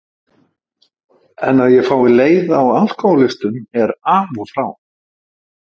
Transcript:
En að ég fái leiða á alkohólistum er af og frá.